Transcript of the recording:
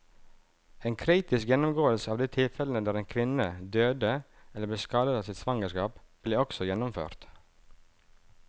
En kritisk gjennomgåelse av de tilfellene der en kvinne døde eller ble skadet av sitt svangerskap, ble også gjennomført.